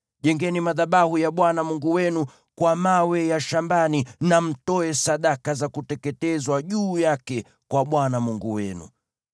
Jengeni madhabahu ya Bwana Mungu wenu kwa mawe ya shambani, na mtoe sadaka za kuteketezwa juu yake kwa Bwana Mungu wenu.